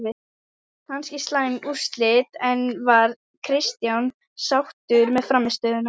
Kannski slæm úrslit, en var Kristján sáttur með frammistöðuna?